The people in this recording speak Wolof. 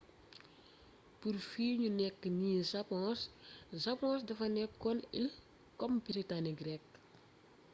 pur fi niu nek nii sapong.sapong defa nekon il kom britanik rek